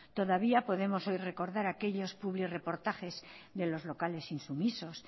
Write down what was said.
todavía podemos hoy recordar aquellos publireportajes de los locales insumisos